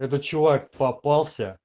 этот чувак попался